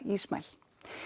Ismail